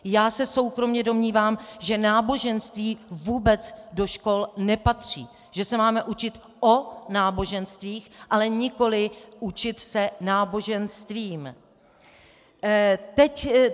Já se soukromě domnívám, že náboženství vůbec do škol nepatří, že se máme učit o náboženstvích, ale nikoliv učit se náboženstvím.